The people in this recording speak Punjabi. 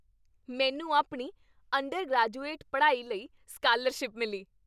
ਮੈਨੂੰ ਆਪਣੀ ਅੰਡਰਗ੍ਰੈਜੁਏਟ ਪੜ੍ਹਾਈ ਲਈ ਸਕਾਲਰਸ਼ਿਪ ਮਿਲੀ।